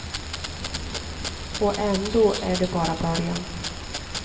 Och ändå är det bara början.